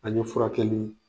An' ɲe furakɛli